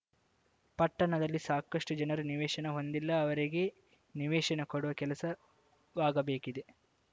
ಪಟ್ಟಣದಲ್ಲಿ ಸಾಕಷ್ಟುಜನರು ನಿವೇಶನ ಹೊಂದಿಲ್ಲ ಅವರಿಗೆ ನಿವೇಶನ ಕೊಡುವ ಕೆಲಸ ವಾಗಬೇಕಿದೆ